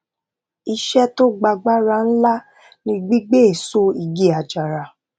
iṣé tó gba agbára ńlá ni gbígbé èso igi àjàrà